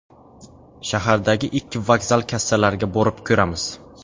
Shahardagi ikki vokzal kassalariga borib ko‘ramiz.